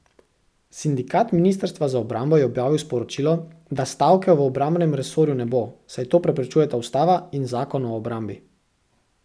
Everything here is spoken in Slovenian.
Sindikat ministrstva za obrambo je objavil sporočilo, da stavke v obrambnem resorju ne bo, saj to preprečujeta ustava in Zakon o obrambi.